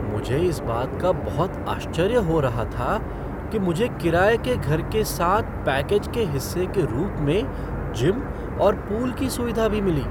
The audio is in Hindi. मुझे इस बात का बहुत आश्चर्य हो रहा था कि मुझे किराए के घर के साथ पैकेज के हिस्से के रूप में जिम और पूल की सुविधा भी मिली।